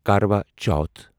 کروا چوتھ